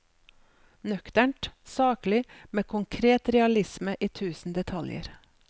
Nøkternt, saklig, med konkret realisme i tusen detaljer.